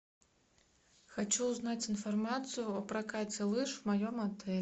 хочу узнать информацию о прокате лыж в моем отеле